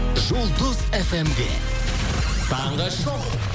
жұлдыз фм де таңғы шоу